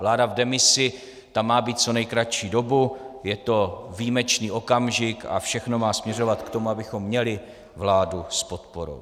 Vláda v demisi, ta má být co nejkratší dobu, je to výjimečný okamžik a všechno má směřovat k tomu, abychom měli vládu s podporou.